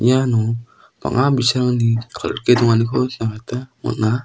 iano bang·a bi·sarangni kal·grike donganiko nikna gita man·a.